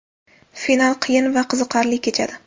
Final qiyin va qiziqarli kechadi.